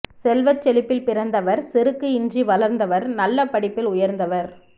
செல்வச் செழிப்பில் பிறந்தவர் செருக்கு இன்றி வளர்ந்தவர் நல்ல படிப்பில் உயர்ந்தவர்